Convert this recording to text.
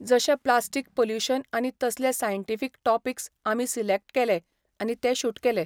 जशें plastic pollution आनी तसले सायन्टिफीक टॉपिक्स आमी सिलेक्ट केले आनी ते शूट केले.